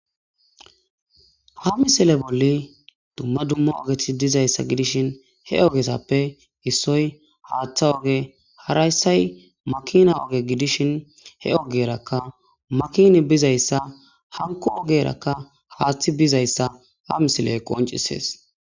Ha misile bolli dumma dumma ogeti dizayssa gidishin he ogesappe issoy haaththa oge harayssay makina oge gidishin he ogerakka makini bizayssa hanko ogerakka haaththi bizayssa ha misile qoncisees